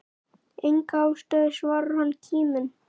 Enga ástæðu svarar hann kíminn.